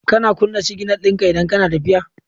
Kana kuna signal dinka idan kana tafiya